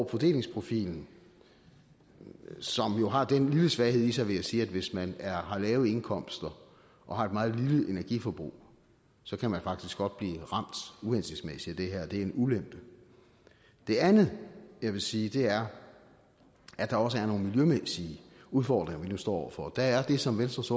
fordelingsprofilen som jo har den lille svaghed i sig vil jeg sige at hvis man har lave indkomster og har et meget lille energiforbrug så kan man faktisk godt blive ramt uhensigtsmæssigt at det er en ulempe det andet jeg vil sige er at der også er nogle miljømæssige udfordringer vi nu står over for der er det som venstres